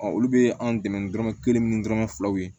olu bɛ an dɛmɛ ni dɔrɔmɛ kelen ni dɔrɔmɛ filaw ye